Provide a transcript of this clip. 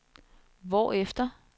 hvorefter